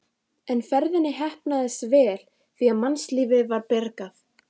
En ferðin heppnaðist vel því að mannslífi var bjargað.